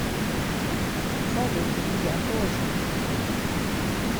салют и я тоже